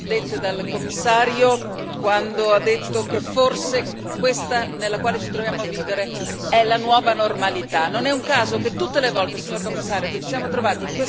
In particolar modo condivido al cento per cento le parole dette dal Commissario, quando ha detto che forse questa nella quale ci troviamo a vivere è la nuova normalità.